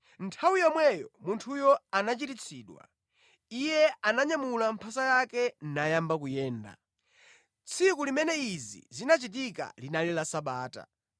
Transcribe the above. Nthawi yomweyo munthuyo anachiritsidwa. Iye ananyamula mphasa yake nayamba kuyenda. Tsiku limene izi zinachitika linali la Sabata.